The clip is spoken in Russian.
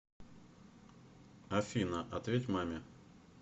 афина ответь маме